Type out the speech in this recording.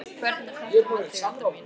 Hvernig er þetta með þig, Edda mín?